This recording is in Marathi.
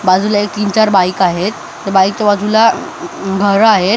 बाजूला एक तीन चार बाईक आहेत त्या बाईकच्या बाजूला घरं आहेत.